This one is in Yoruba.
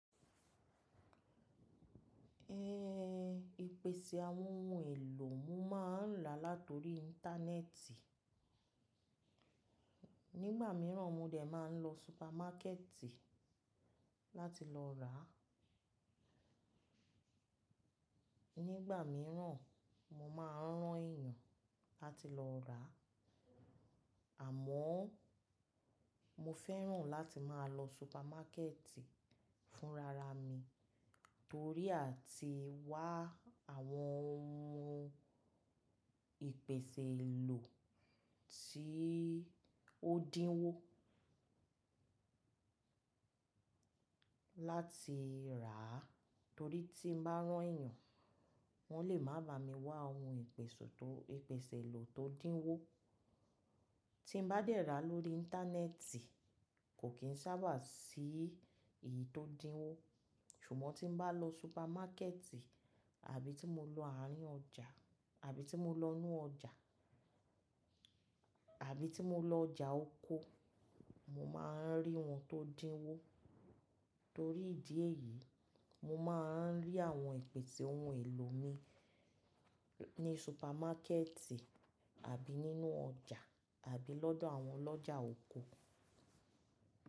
Eh, ìpèsè àwọn ohun èlò mo máà ń rà látori íńtánẹ́ẹ̀tì. Nígbà mìíràn mo dẹ̀ máa ń lọ súpámákẹ̀tì láti lọ rà. Nígbà míràn mo máa ń rán èyàn láti lọ rà. Àmọ́ mo fẹ́ràn láti máa lọ súpámákẹ̀tì fún ara mi torí a ti wá àwọn ohun ìpèsè èlò tí ó dínwó láti rà. Torí tí mo bá rán èyàn, wọ́n lè má bà mí wá ohun ìpèsè tó, ìpèsè èlò tó dínwó. Tí mo bá dẹ̀ ra lórí íńtánẹ́ẹ̀tì, kò kin sábà sí èyí tó dínwó. Ṣùgbọ́n tí mo bá lọ súpámákẹ̀tì àbí tí mo lọ àárín ọjà, àbí tí mo lọ inú ọjà, àbí tí mo lọ ọjà oko, mo máa ń rí ohun tó dínwó. Torí ìdí èyí, mo máa ń rí àwọn ìpèsè ohun èlò mi ní súpámákẹ̀tì àbí nínú ọjà àbí lọ́dọ̀ àwọn ọlọ́jà oko.